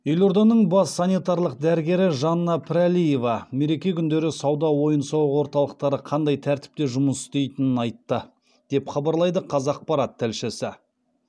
елорданың бас санитарлық дәрігері жанна пірәлиева мереке күндері сауда ойын сауық орталықтары қандай тәртіпте жұмыс істейтінін айтты деп хабарлайды қазақпарат тілшісі